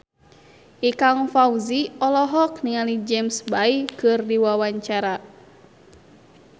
Ikang Fawzi olohok ningali James Bay keur diwawancara